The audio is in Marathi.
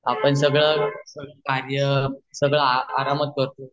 आपण आता सगळे कार्य सगळे आरामात करत आहे